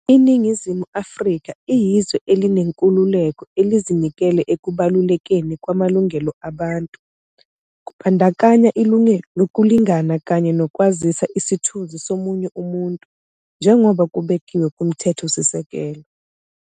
"INingizimu Afrika iyizwe elinenkululeko, elizinikele ekubalulekeni kwamalungelo abantu, kubandakanya ilungelo lokulingana kanye nokwazisa isithunzi somunye umuntu, njengoba kubekiwe kuMthethosisekelo."